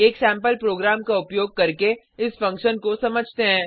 एक sample program का उपयोग करके इस फंक्शन को समझते हैं